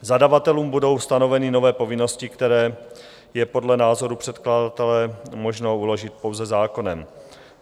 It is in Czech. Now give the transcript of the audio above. Zadavatelům budou stanoveny nové povinnosti, které je podle názoru předkladatele možno uložit pouze zákonem.